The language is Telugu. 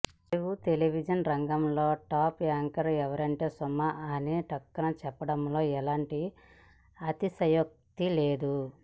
తెలుగు టెలివిజన్ రంగంలో టాప్ యాంకర్ ఎవరంటే సుమ అని ఠక్కున చెప్పడంలో ఎలాంటి అతిశయోక్తి లేదు